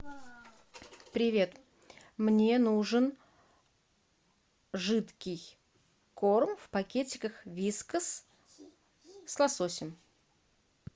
привет мне нужен жидкий корм в пакетиках вискас с лососем